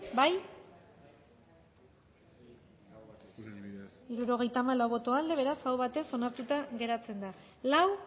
bozkatu dezakegu bozketaren emaitza onako izan da hirurogeita hamalau eman dugu bozka hirurogeita hamalau boto aldekoa beraz aho batez onartuta geratzen da lau